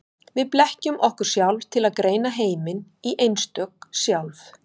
Við blekkjum okkur sjálf til að greina heiminn í einstök sjálf.